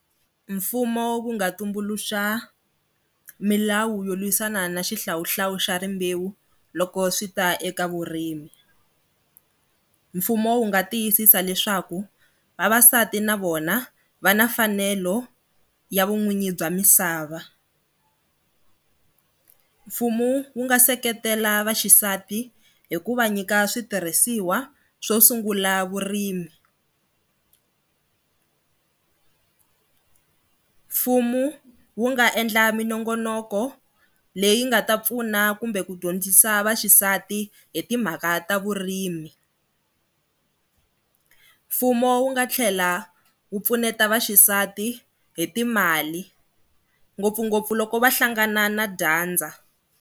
Mfumo wu nga tumbuluxa milawu yo lwisana na xihlawuhlawu xa rimbewu loko swi ta eka vurimi. Mfumo wu nga tiyisisa leswaku vavasati na vona va na mfanelo ya vun'wini bya misava. Mfumo wu nga seketela vaxisati hi ku va nyika switirhisiwa swo sungula vurimi. Mfumo wu nga endla minongonoko leyi nga ta pfuna kumbe ku dyondzisa vaxisati hi timhaka ta vurimi. Mfumo wu nga tlhela wu pfuneta vaxisati hi timali ngopfungopfu loko va hlangana na dyandza.